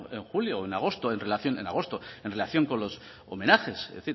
en julio o en agosto en relación con los homenajes